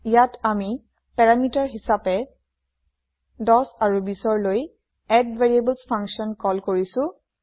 ইয়াত আমি পেৰামিটাৰ হিচাপে ১০ আৰু ২০ লৈ এডভেৰিয়েবলছ ফাংচন কল কৰিছো